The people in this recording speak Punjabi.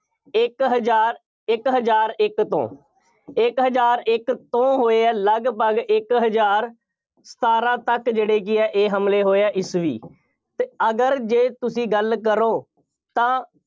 ਇੱਕ ਹਜ਼ਾਰ, ਇੱਕ ਹਜ਼ਾਰ ਇੱਕ ਤੋਂ, ਇੱਕ ਹਜ਼ਾਰ ਇੱਕ ਤੋਂ ਹੋਏ ਆ, ਲਗਭਗ ਇੱਕ ਹਜ਼ਾਰ ਸਤਾਰਾਂ ਤੱਕ ਜਿਹੜੇ ਕਿ ਆ ਇਹ ਹਮਲੇ ਹੋਏ ਆ, ਈਸਵੀ ਅਤੇ ਅਗਰ ਜੇ ਤੁਸੀਂ ਗੱਲ ਕਰੋ, ਤਾਂ